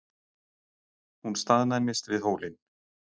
Hún staðnæmist við hólinn.